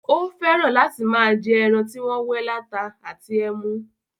Ó fẹ́ràn láti máa jẹ́ ẹran tí wọ́n wẹ́ láta àti ẹmu.